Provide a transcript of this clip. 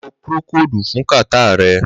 Ló prókódú fún kàtá rè